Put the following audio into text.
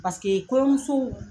Paseke kɔɲɔmuso